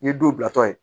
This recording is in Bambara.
N ye don bilatɔ ye